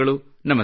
ನಮಸ್ಕಾರ